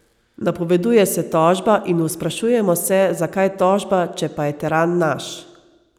Napoveduje se tožba in v sprašujemo se, zakaj tožba, če pa je teran naš.